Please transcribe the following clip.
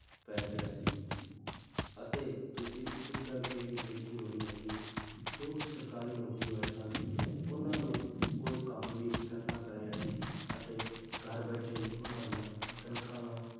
ਪੈ ਗਿਆ ਸੀ ਅਤੇ ਤੁਸੀਂ ਇੱਕ ਗੱਲ ਇਹ ਵੀ ਦੇਖੀ ਹੋਣੀ ਹੈ ਕਿ ਜੋ ਸਰਕਾਰੀ ਨੌਕਰੀ ਵਾਲੇ ਸਨ ਉਹਨਾਂ ਨੂੰ ਕੋਈ ਕੰਮ ਵੀ ਨੀ ਕਰਨਾ ਪੈ ਰਿਹਾ ਸੀ ਅਤੇ ਘਰ ਬੈਠੇ ਹੀ ਉਹਨਾਂ ਦੀਆਂ ਤਨਖਾਹਾਂ,